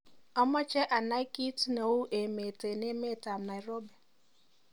amoje anai kiit nei emeet en emet ab nairobi